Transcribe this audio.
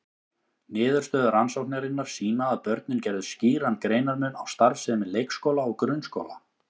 Niðurstöður rannsóknarinnar sýna að börnin gerðu skýran greinarmun á starfsemi leikskóla og grunnskóla.